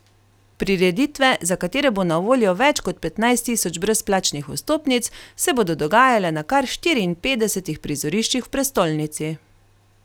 Prireditve, za katere bo na voljo več kot petnajst tisoč brezplačnih vstopnic, se bodo dogajale na kar štiriinpetdesetih prizoriščih v prestolnici.